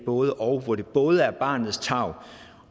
både og hvor det både er barnets tarv